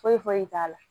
Foyi foyi t'a la